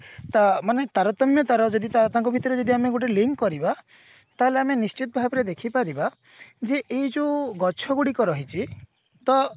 ଅ ମାନେ ତାରତମ୍ୟ ତାର ଯଦି ତାଙ୍କ ଭିତରେ ଆମେ ଗୋଟେ link କରିବା ତାହେଲେ ଆମେ ନିଶ୍ଚିନ୍ତ ଭାବରେ ଦେଖି ପାରିବା ଯେ ଏଇ ଯୋଉ ଗଛ ଗୁଡିକ ରହିଛି ତ